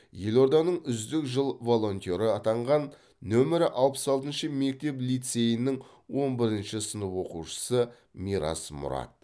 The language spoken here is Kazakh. елорданың үздік жыл волонтеры атанған номері алпыс алтыншы мектеп лицейінің он бірінші сынып оқушысы мирас мұрат